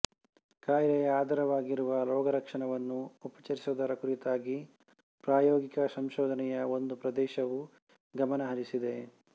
ಕಾಯಿಲೆಯ ಆಧಾರವಾಗಿರುವ ರೋಗಲಕ್ಷಣವನ್ನು ಉಪಚರಿಸುವುದರ ಕುರಿತಾಗಿ ಪ್ರಾಯೋಗಿಕ ಸಂಶೋಧನೆಯ ಒಂದು ಪ್ರದೇಶವು ಗಮನ ಹರಿಸಿದೆ